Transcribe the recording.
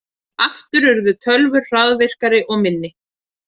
Aftur urðu tölvur hraðvirkari og minni.